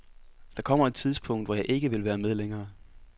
Der kommer et tidspunkt, hvor jeg ikke vil være med længere.